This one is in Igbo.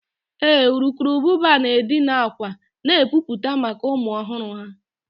Ee, urukurubụba na-edina akwa na epupụta maka ụmụ ọhụrụ ha